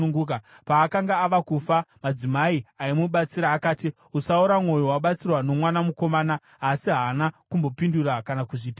Paakanga ava kufa madzimai aimubatsira akati, “Usaora mwoyo wabatsirwa nomwana mukomana.” Asi haana kumbopindura kana kuzviteerera.